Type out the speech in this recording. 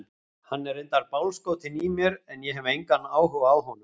Hann er reyndar bálskotinn í mér en ég hef engan áhuga á honum.